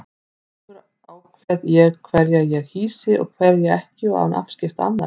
Sjálfur ákveð ég hverja ég hýsi og hverja ekki og án afskipta annarra.